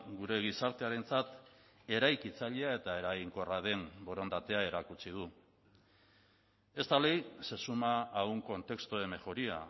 gure gizartearentzat eraikitzailea eta eraginkorra den borondatea erakutsi du esta ley se suma a un contexto de mejoría